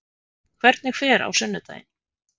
Hvernig fer á sunnudaginn?